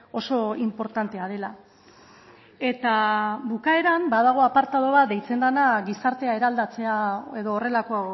oso inportantea dela eta bukaeran badago apartatu bat deitzen dena gizartea eraldatzea edo horrelako